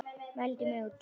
Mældi mig út.